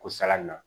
Ko sala na